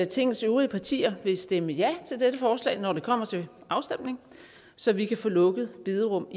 tingets øvrige partier vil stemme ja til dette forslag når det kommer til afstemning så vi kan få lukket bederum